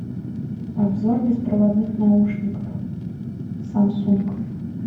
обзор беспроводных наушников самсунг